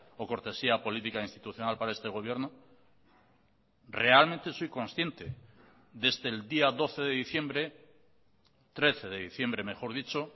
o cortesía política institucional para este gobierno realmente soy consciente desde el día doce de diciembre trece de diciembre mejor dicho